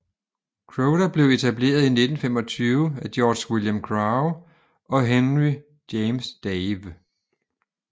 Croda blev etableret i 1925 af George William Crowe og Henry James Dawe